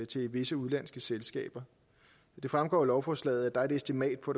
til visse udenlandske selskaber det fremgår af lovforslaget at der er et estimat på